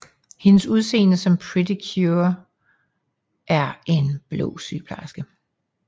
Hendes udseende som Pretty Cure er en blå sygeplejeske